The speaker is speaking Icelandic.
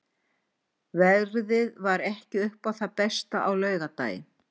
Veðrið var ekki upp á það besta á laugardaginn.